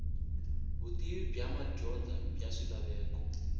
vutivi bya madyondza bya swilaveko